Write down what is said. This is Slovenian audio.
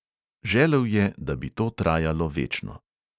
Želel je, da bi to trajalo večno.